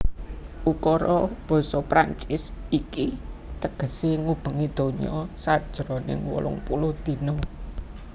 Ukara basa Prancis iki tegesé Ngubengi Donya sajroning wolung puluh Dina